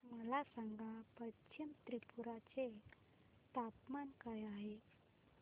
मला सांगा पश्चिम त्रिपुरा चे तापमान काय आहे